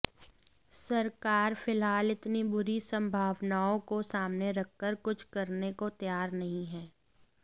सरकार फिलहाल इतनी बुरी संभावनाओं को सामने रखकर कुछ करने को तैयार नहीं है